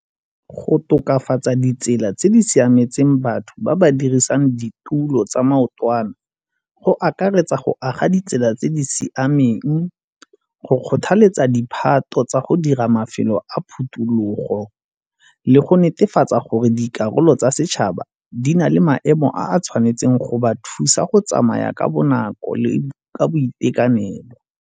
Go tokafatsa ditsela tse di siametseng batho ba ba dirisang ditulo tsa maotwana go akaretsa go aga ditsela tse di siameng, go kgothaletsa diphato tsa go dira mafelo a phutulogo le go netefatsa gore dikarolo tsa setšhaba di na le maemo a a tshwanetseng go ba thusa go tsamaya ka bonako le ka boitekanelo.